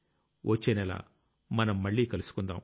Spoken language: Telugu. వచ్చే నెల మనం మళ్లీ కలుసుకుందాం